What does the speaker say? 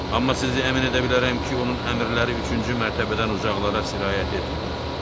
Amma sizi əmin edə bilərəm ki, onun əmrləri üçüncü mərtəbədən uzaqlara sirayət etmir.